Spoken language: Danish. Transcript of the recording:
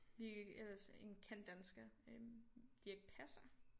Vi ellers en kendt dansker øh Dirch Passer